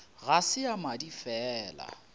ga se ya madi fela